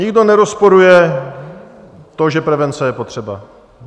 Nikdo nerozporuje to, že prevence je potřeba.